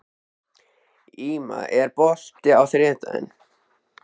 Íma, er bolti á þriðjudaginn?